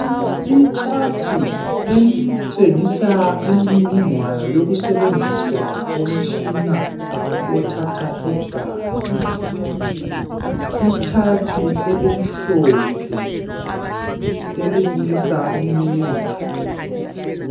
I chart elitshengisa imininingwane yokusetshenziswa komtshina othatha i gazi. I chart elimhlophe elibukisa imininingwane